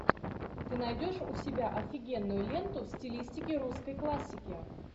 ты найдешь у себя офигенную ленту в стилистике русской классики